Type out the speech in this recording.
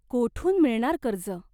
कोठून मिळणार कर्ज ?